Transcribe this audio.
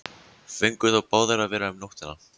Fengu þó báðir að vera um nóttina.